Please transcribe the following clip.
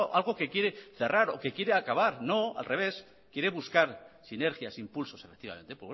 algo que quiere cerrar o que quiere acabar no al revés quiere buscar sinergias impulsos efectivamente